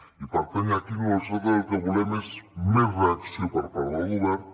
i per tant aquí nosaltres el que volem és més reacció per part del govern